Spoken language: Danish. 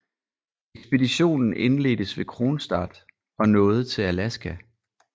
Ekspeditionen indledtes ved Kronstadt og nåede til Alaska